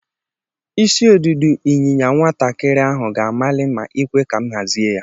Isi ọdụdu inyinya nwata kiri ahu ga-amali ma ikwe ka m hazie ya